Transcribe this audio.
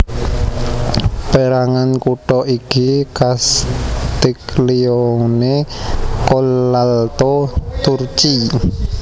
Pérangan kutha iki Castiglione Collalto Turchi